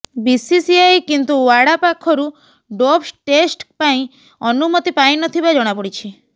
BCCI କିନ୍ତୁ ଓ୍ୱାଡା ପାଖରୁ ଡୋପ୍ ଟେଷ୍ଟ ପାଇଁ ଅନୁମତି ପାଇନଥିବା ଜଣାପଡ଼ିଛି